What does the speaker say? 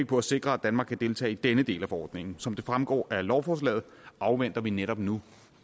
på at sikre at danmark kan deltage i denne del af forordningen som det fremgår af lovforslaget afventer vi netop nu